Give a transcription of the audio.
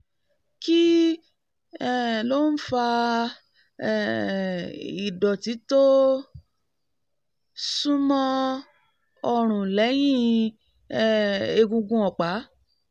kí um ló ń fa um ìdọ̀tí tó súnmọ́ ọrùn lẹ́yìn um egungun ọ̀pá?